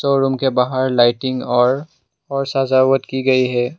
Showroom के बाहर lighting और और सजावट की गई है।